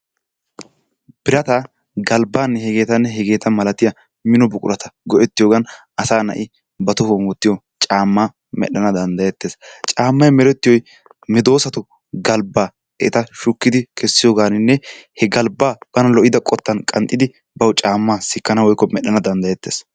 Birataa, galbbaanne hegeetanne hegeeta malatiya mino buqurata go'ettiyogan asaa na'i ba tohuwan wottiyo caammaa medhdhana danddayettees. Caammay merettiyoy medoosatu galbbaa eta shukkidi kessiyogaaninne he galbbaa bana lo'ida qottan qanxxidi bawu caammaa sikkana woykko medhdhana danddayettees.